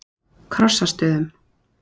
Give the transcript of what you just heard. Krossastöðum